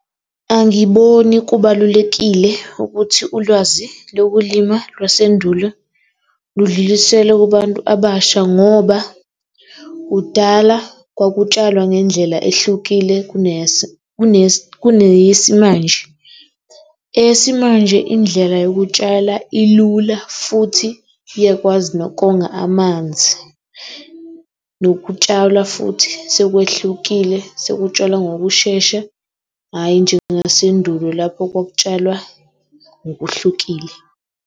Angiboni kubalulekile ukuthi ulwazi lokulima lwasendulo ludluliselwe kubantu abasha ngoba kudala kwakutshalwa ngendlela ehlukile kuneyesimanje. Eyesimanje indlela yokutshala ilula futhi iyakwazi nokonga amanzi, nokutshalwa futhi sekwehlukile sekutshalwa ngokushesha, hhayi njengasendulo lapho kwakutshalwa ngokuhlukile.